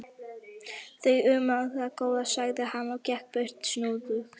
Þú um það, góða, sagði hann og gekk burt snúðugt.